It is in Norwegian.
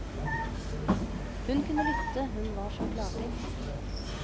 Hun kunne lytte, hun var så klartenkt.